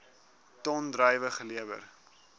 ton druiwe gelewer